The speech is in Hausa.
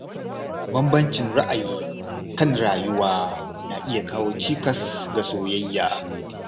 Bambancin ra’ayi kan rayuwa na iya kawo cikas ga soyayya.